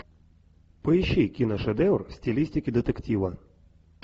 поищи киношедевр в стилистике детектива